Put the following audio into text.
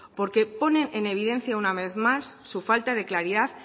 porque ponen en evidencia una vez más su falta de claridad